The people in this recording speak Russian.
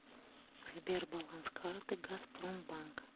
сбер баланс карты газпромбанк